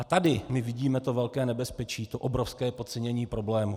A tady my vidíme to velké nebezpečí, to obrovské podcenění problému.